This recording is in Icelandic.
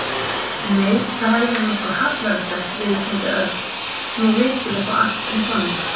Nei, það hefði verið nokkuð hallærislegt viðurkenndi Örn. Nú við vitum þó allt um Sonju.